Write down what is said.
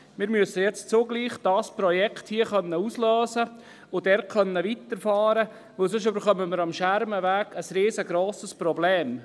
Wir müssen dieses Projekt hier auslösen und dort weiterfahren, denn sonst bekommen wir am Schermenweg ein riesengrosses Problem.